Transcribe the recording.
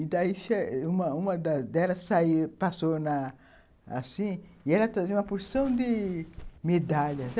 E daí, uma uma delas saiu, passou assim e ela trazia uma porção de medalhas.